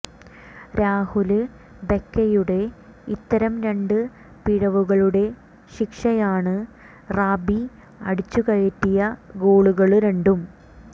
രാഹുല് ബെക്കെയുടെ ഇത്തരം രണ്ട് പിഴവുകളുടെ ശിക്ഷയാണ് റാബി അടിച്ചുകയറ്റിയ ഗോളുകള് രണ്ടും